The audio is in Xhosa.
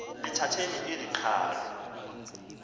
lithatheni eli qhalo